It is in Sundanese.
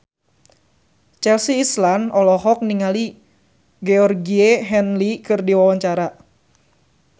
Chelsea Islan olohok ningali Georgie Henley keur diwawancara